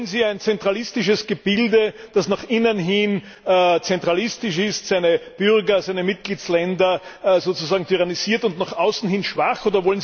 Wollen Sie ein zentralistisches Gebilde, das nach innen hin zentralistisch ist, seine Bürger, seine Mitgliedstaaten sozusagen tyrannisiert, und nach außen hin schwach ist?